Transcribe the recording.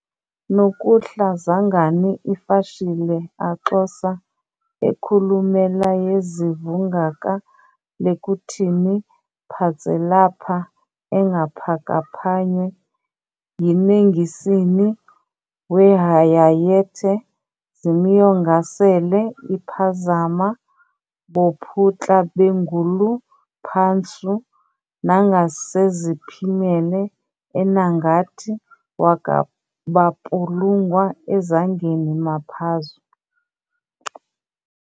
nokuhla zangani iFashile aXosa ekhulumelayezivungaka lekuthini phatselapha-engaphakaphanywe yinengisini wehayayethe zimyongasele iphazama bophutlaBenguluPhanshu nangaseziphimela enangathi wakaBapulungwa eZangeni maphazu.